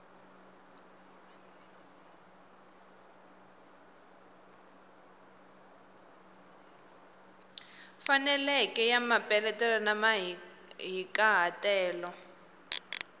faneleke ya mapeletelo na mahikahatelo